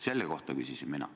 Selle kohta küsisin mina.